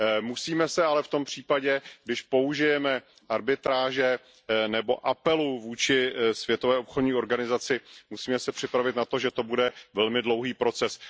Musíme se ale v tom případě, když použijeme arbitráže nebo apelu vůči Světové obchodní organizaci, připravit na to, že to bude velmi dlouhý proces.